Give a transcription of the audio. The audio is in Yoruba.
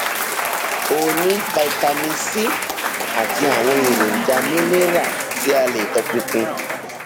ó ní vitamin c àti àwọn èròjà mineral tí a lè tọpinpin